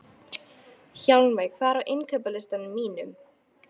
Hjálmveig, hvað er á innkaupalistanum mínum?